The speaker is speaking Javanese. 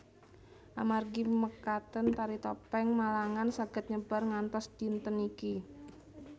Amargi mekaten Tari Topeng Malangan saged nyebar ngantos dinten niki